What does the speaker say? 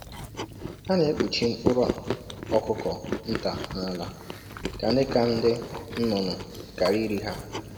“Ha na-ekpuchi mkpụrụ ọkụkọ nta na ala ka ndị ka ndị nnụnụ ghara iri ha